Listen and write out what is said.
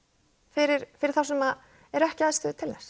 fyrir fyrir þá sem eru ekki í aðstöðu til þess